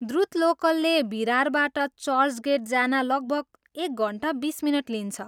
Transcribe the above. द्रुत लोकलले भिरारबाट चर्चगेट जान लगभग एक घन्टा बिस मिनट लिन्छ।